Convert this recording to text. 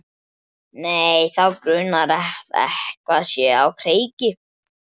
Nei, þá grunar að eitthvað sé á kreiki.